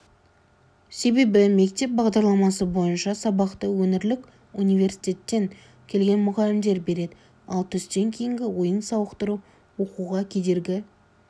себебі мектеп бағдарламасы бойынша сабақты өңірлік университеттен келген мұғалімдер береді ал түстен кейінгі ойын-сауықтыру оқуға кедергі